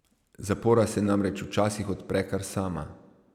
Zapora se namreč včasih odpre kar sama.